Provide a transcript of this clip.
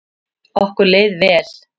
Okkur leið vel.